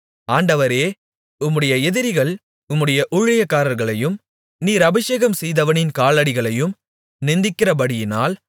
ஆண்டவரே உம்முடைய எதிரிகள் உம்முடைய ஊழியக்காரர்களையும் நீர் அபிஷேகம் செய்தவனின் காலடிகளையும் நிந்திக்கிறபடியினால்